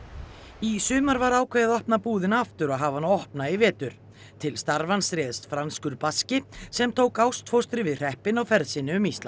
í sumar var ákveðið að opna búðina aftur og hafa hana opna í vetur til starfans réðst franskur sem tók ástfóstri við hreppinn á ferð sinni um Ísland